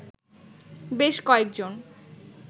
বেশ কয়েকজন